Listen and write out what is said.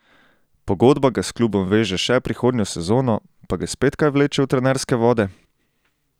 Pogodba ga s klubom veže še prihodnjo sezono, pa ga spet kaj vleče v trenerske vode?